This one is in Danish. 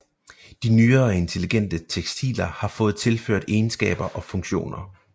De nyere intelligente tekstiler har fået tilført egenskaber og funktioner